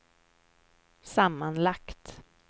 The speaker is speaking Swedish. sammanlagt